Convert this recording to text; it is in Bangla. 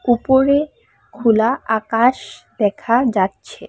উপরে খোলা আকাশ দেখা যাচ্ছে।